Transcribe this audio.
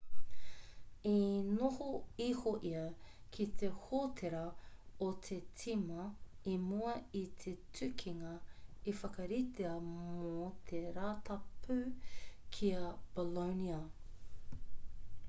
i noho iho ia ki te hōtera o te tīma i mua i te tukinga i whakaritea mō te rātapu ki a bolonia